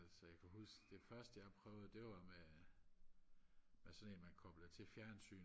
så jeg kan huske det første jeg prøvede det var med med med sådan en man koblede til fjernsynet